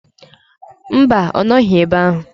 Mba, ọ nọghi ebe ahụ.